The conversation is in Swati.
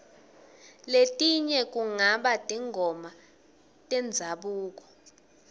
letinye kungaba tingoma tendzabuko